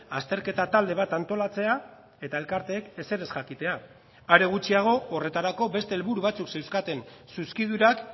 azterketa talde bat antolatzea eta elkarteek ezer ez jakitea are gutxiago horretarako beste helburu batzuk zeuzkaten zuzkidurak